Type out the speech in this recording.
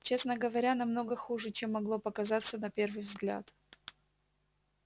честно говоря намного хуже чем могло показаться на первый взгляд